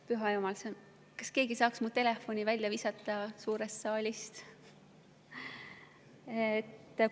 Püha jumal, kas keegi saaks mu telefoni suurest saalist välja visata?